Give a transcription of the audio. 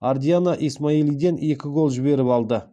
ардиана исмайлиден екі гол жіберіп алды